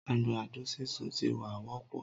Àgbàdo sísun ti wá wópọ̀